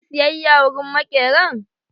Za ki yi siyayya wurin maƙeran?